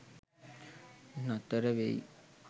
නතර වෙයි.